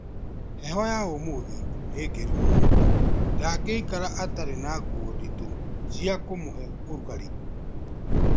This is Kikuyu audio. Heho ya ũmũthĩ nĩ ngĩru mũndũ ndangĩikara atarĩ na nguo ndito cia kumuhe urũgarĩ